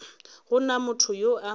go na motho yo a